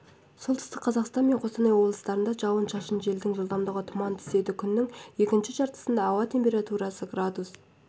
солтүстік қазақстан мен қостанай облыстарында жауын-шашын желдің жылдамдығы тұман түседі күннің екінші жартысында ауа температурасы градус